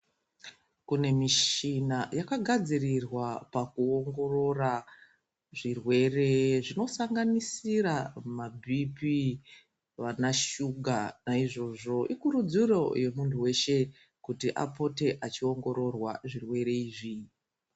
Kune mishina yakagadzirirwa pakuongorora zvirwere zvinosanganisira mabhiiphii vanashuga. Naizvozvo ikurudziro yemuntu weshe, kuti apote achiongororwa zvirwere izvi.